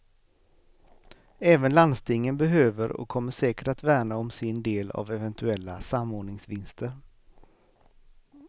Även landstingen behöver och kommer säkert att värna om sin del av eventuella samordningsvinster.